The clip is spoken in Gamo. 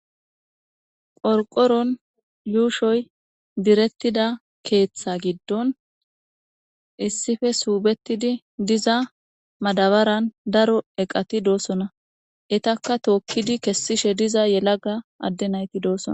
qorqoron yuushoy direttida keeththa giddon issife suubetidi diza madabaran daro eqati doossona etakka tookkidi kessishe diza yelaga adde nayti doosona